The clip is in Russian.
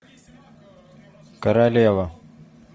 королева